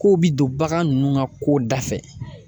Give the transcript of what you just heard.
Kow bi don bagan nunnu ŋa kow dafɛ